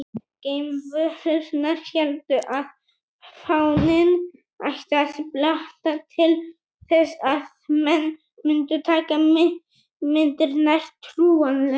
Geimverurnar héldu að fáninn ætti að blakta til þess að menn mundu taka myndirnar trúanlegar.